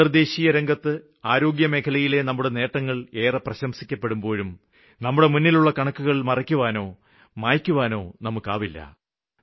അന്തര്ദേശീയരംഗത്ത് ആരോഗ്യമേഖലയിലെ നമ്മുടെ നേട്ടങ്ങള് ഏറെ പ്രശംസിക്കപ്പെടുമ്പോഴും നമ്മുടെ മുന്നിലുള്ള കണക്കുകള് മറയ്ക്കുവാനോ മായ്ക്കുവാനോ ആകില്ല